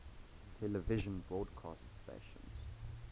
television broadcast stations